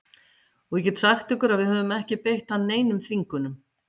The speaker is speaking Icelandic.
Og ég get sagt ykkur að við höfum ekki beitt hann neinum þvingunum.